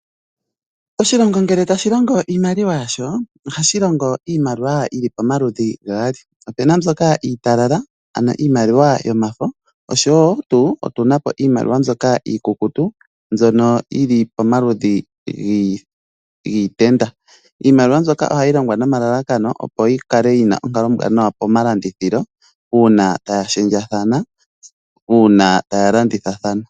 Oshilongo ngele tashi longo iimaliwa yasho ohashi longo iimaliwa yi li pomaludhi gaali opu na mbyoka iitalala ano iimaliwa yomafo oshowo tuu tu na po iimaliwa mbyoka iikukutu mbyono yi li pomaludhi giitenda. Iimaliwa mbyoka oha ii longwa nomalalakano opo yi kale yi na onkalo ombwanawa pomalandithilo uuna taya shendjathana uuna ta ya landithathana.